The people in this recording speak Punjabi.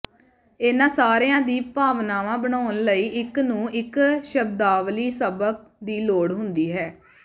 ਇਨ੍ਹਾਂ ਸਾਰਿਆਂ ਦੀ ਭਾਵਨਾ ਬਣਾਉਣ ਲਈ ਇੱਕ ਨੂੰ ਇੱਕ ਸ਼ਬਦਾਵਲੀ ਸਬਕ ਦੀ ਲੋੜ ਹੁੰਦੀ ਹੈ